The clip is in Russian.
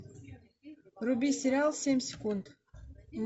вруби сериал семь секунд